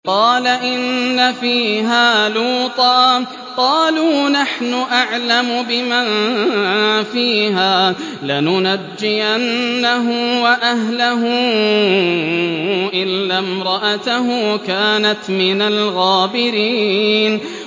قَالَ إِنَّ فِيهَا لُوطًا ۚ قَالُوا نَحْنُ أَعْلَمُ بِمَن فِيهَا ۖ لَنُنَجِّيَنَّهُ وَأَهْلَهُ إِلَّا امْرَأَتَهُ كَانَتْ مِنَ الْغَابِرِينَ